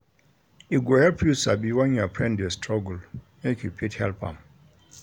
E go help you sabi when your friend de struggle make you fit help am